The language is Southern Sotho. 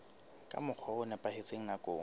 ka mokgwa o nepahetseng nakong